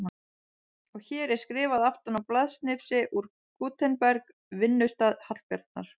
Og hér er skrifað aftan á blaðsnifsi úr Gutenberg, vinnustað Hallbjarnar